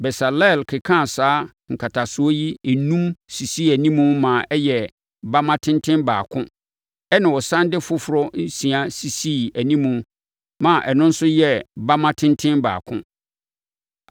Besaleel kekaa saa nkatasoɔ yi enum sisii animu ma ɛyɛɛ bamma tenten baako ɛnna ɔsane de afoforɔ nsia sisii animu maa ɛno nso yɛɛ bamma tenten baako.